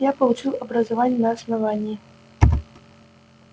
я получил образование на основании